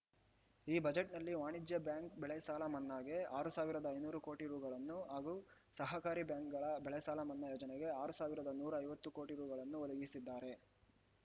ಈ ಬಜೆಟ್‌ನಲ್ಲಿ ವಾಣಿಜ್ಯ ಬ್ಯಾಂಕ್ ಬೆಳೆ ಸಾಲ ಮನ್ನಾಗೆ ಆರ್ ಸಾವಿರದ ಐನೂರು ಕೋಟಿ ರೂಗಳನ್ನು ಹಾಗೂ ಸಹಕಾರಿ ಬ್ಯಾಂಕ್‌ಗಳ ಬೆಳೆ ಸಾಲ ಮನ್ನಾ ಯೋಜನೆಗೆ ಆರು ಸಾವಿರದ ನೂರ ಐವತ್ತು ಕೋಟಿ ರೂಗಳನ್ನು ಒದಗಿಸಿದ್ದಾರೆ